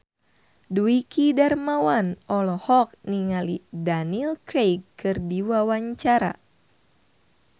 Dwiki Darmawan olohok ningali Daniel Craig keur diwawancara